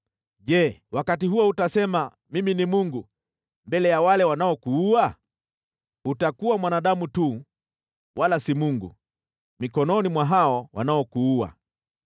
Je, wakati huo utasema, “Mimi ni mungu,” mbele ya wale wanaokuua? Utakuwa mwanadamu tu, wala si mungu, mikononi mwa hao wanaokuua.